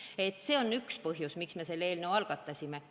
Nii et see on üks põhjus, miks me selle eelnõu algatasime.